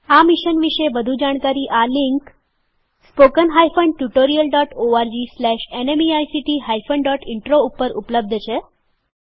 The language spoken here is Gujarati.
આ મિશન વિશે વધુ જાણકારી આ લિંક spoken tutorialorgnmeict ઇન્ટ્રો ઉપર ઉપલબ્ધ છે